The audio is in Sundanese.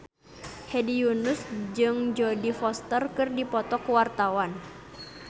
Hedi Yunus jeung Jodie Foster keur dipoto ku wartawan